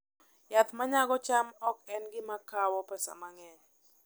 Yath ma nyago cham ok en gima kawo pesa mang'eny